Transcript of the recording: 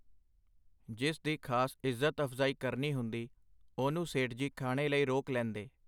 ਜਿਸ ਦੀ ਖਾਸ ਇਜ਼ਤ-ਅਫਜ਼ਾਈ ਕਰਨੀ ਹੁੰਦੀ, ਉਹਨੂੰ ਸੇਠ ਜੀ ਖਾਣੇ ਲਈ ਰੋਕ ਲੈਂਦੇ.